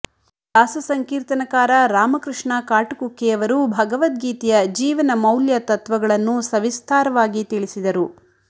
ದಾಸ ಸಂಕೀರ್ತನಕಾರ ರಾಮಕೃಷ್ಣ ಕಾಟುಕುಕ್ಕೆಯವರು ಭಗವದ್ಗೀತೆಯ ಜೀವನ ಮೌಲ್ಯ ತತ್ವಗಳನ್ನು ಸವಿಸ್ತಾರವಾಗಿ ತಿಳಿಸಿದರು